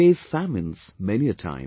They face famines, many a time